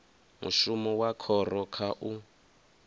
mushumo wa khoro kha u